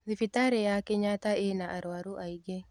Thibitarĩya Kenyatta ĩna arwaru aingĩ.